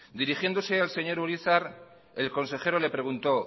dirigiéndose al señor urizar el consejero le preguntó